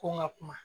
Ko n ka kuma